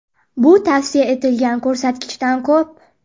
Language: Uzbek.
Bu tavsiya etilgan ko‘rsatkichdan ko‘p.